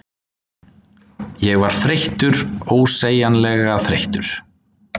Ég var þreyttur, ósegjanlega þreyttur.